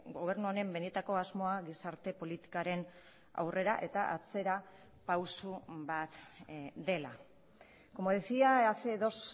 gobernu honen benetako asmoa gizarte politikaren aurrera eta atzera pausu bat dela como decía hace dos